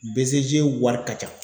BCG wari ka ca.